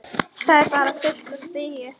Þetta er bara fyrsta stigið.